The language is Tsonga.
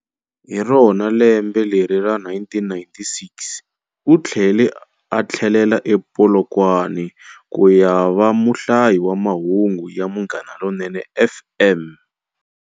Hi rona lembe leri ra 1996, u tlhele a tlhelela ePolokwane ku ya va muhlayi wa mahungu ya Munghana Lonene FM.